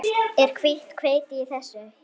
Er hvítt hveiti í þessu?